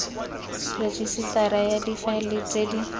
rejisetara ya difaele tse di